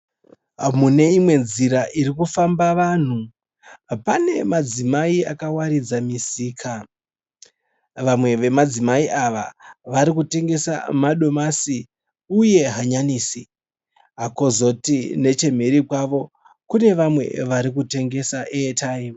Mune imwe nzira iri kufamba vanhu pane madzimai vakawaridza misika. Vamwe vemadzimai ava vari kutengesa madomasi nehanyanisi kozoti neche mhiri kwavo kune vamwe vari kutengesa airtime.